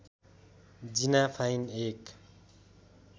जिना fine एक